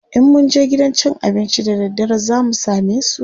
in mun je gidan cin abincin da daddare zamu samesu?